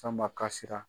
Fanba kasira